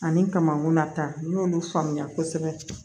Ani kamankunnata n'olu faamuya kosɛbɛ